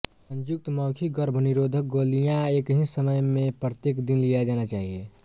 संयुक्त मौखिक गर्भनिरोधक गोलियां एक ही समय में प्रत्येक दिन लिया जाना चाहिए